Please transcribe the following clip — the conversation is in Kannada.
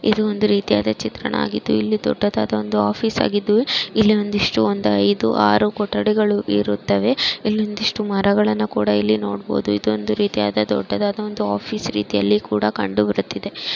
ಇದು ಒಂದು ರೀತಿಯ ಚಿತ್ರಣ ಆಗಿದ್ದು ಇಲ್ಲಿ ದೊಡ್ಡದಾದ ಒಂದು ಆಫೀಸ್ ಆಗಿದ್ದು ಇಲ್ಲಿ ಒಂದಿಷ್ಟು ಒಂದು ಐದು ಆರು ಕೊಠಡಿಗಳು ಇರುತ್ತವೆ ಇಲ್ಲೊಂದಿಷ್ಟು ಮರಗಳನ್ನ ಕೂಡ ಇಲ್ಲಿ ನೋಡಬಹುದು ಇದೊಂದು ರೀತಿಯಾದ ದೊಡ್ಡದಾದ ಒಂದು ಆಫೀಸ್ ರೀತಿಯಲ್ಲಿ ಕೂಡ ಕಂಡುಬರುತ್ತಿದೆ.